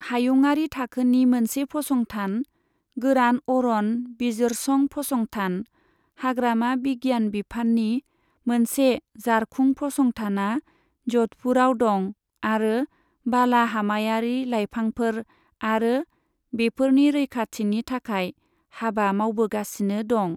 हायुंआरि थाखोनि मोनसे फसंथान, गोरान अरन बिजिरसं फसंथान, हाग्रामा बिगियान बिफाननि मोनसे जारखुं फसंथाना ज'धपुराव दं आरो बाला हामायारि लाइफांफोर आरो बेफोरनि रैखाथिनि थाखाय हाबा मावबोगासिनो दं।